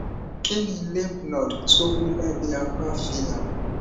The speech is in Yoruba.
kí ni lymph node tó wú lábẹ apá fi hàn